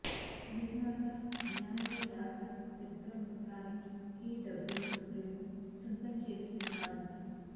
నిర్మాత జ్ఞానవేల్ రాజా పెద్ద మొత్తానికి ఈ డబ్బింగ్ హక్కులను సొంతం చేసుకున్నారట